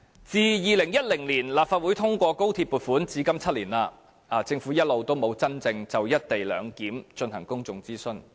自2010年立法會通過高鐵撥款，至今已7年，政府一直沒有真正就"一地兩檢"進行公眾諮詢。